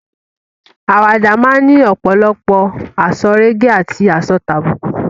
Àwàdà máa ni ọ̀pòlọpọ̀ àsọrégèé àti àsọtàbùkù.